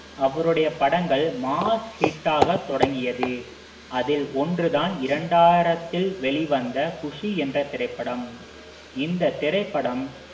அவருடைய படங்கள் mass hit ஆக தொடங்கியது அதில் ஒன்று தான் இரண்டாயிரத்தில் வெளிவந்த குஷி என்ற திரைப்படம் இந்தத் திரைப்படம்